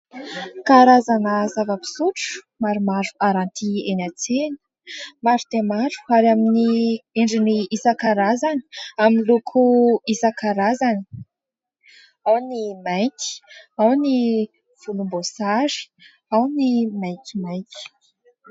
Karazana zava-pisotro maromaro haranty eny an-tsena maro dia maro ary amin'ny endriny isan-karazany amin'ny loko isan-karazany ao ny mainty, ao ny volomboasary, ao ny maitsomaitso.